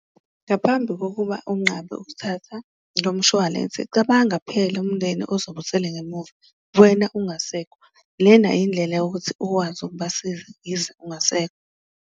Ngaphambi kokuba unqabe ukuthatha lo mshwalense cabanga phela umndeni ozobe usele ngemuva wena ungasekho, lena indlela yokuthi ukwazi ukubasiza yize ungasekho.